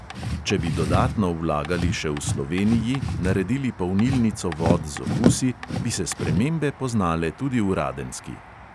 Če bi dodatno vlagali še v sloveniji, naredili polnilnico vod z okusi, bi se spremembe poznale tudi v radenski.